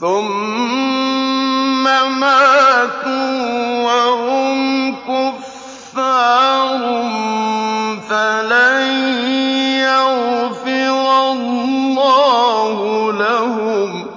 ثُمَّ مَاتُوا وَهُمْ كُفَّارٌ فَلَن يَغْفِرَ اللَّهُ لَهُمْ